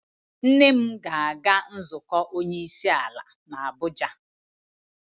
Nne m ga-aga nzukọ onye isi ala n'Abuja.